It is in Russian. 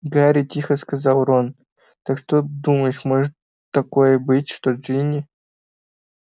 гарри тихо сказал рон как ты думаешь может такое быть что джинни